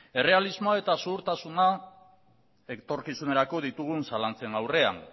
errealismoa eta ziurtasuna etorkizunerako ditugun zalantzen aurrean